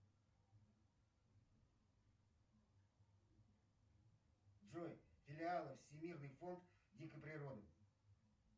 джой филиалы всемирный фонд дикой природы